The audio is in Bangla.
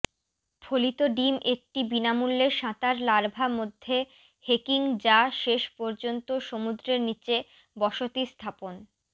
ফলিত ডিম একটি বিনামূল্যে সাঁতার লার্ভা মধ্যে হেকিং যা শেষ পর্যন্ত সমুদ্রের নীচে বসতি স্থাপন